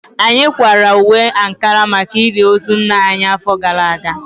Anyị kwara uwe ankara maka ili ozu nna anyị afọ gara aga